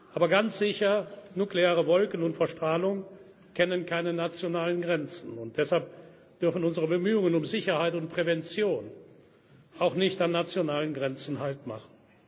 Aber ganz sicher kennen nukleare Wolken und Verstrahlung keine nationalen Grenzen. Deshalb dürfen unsere Bemühungen um Sicherheit und Prävention auch nicht an nationalen Grenzen